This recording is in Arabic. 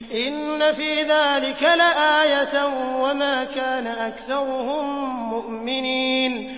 إِنَّ فِي ذَٰلِكَ لَآيَةً ۖ وَمَا كَانَ أَكْثَرُهُم مُّؤْمِنِينَ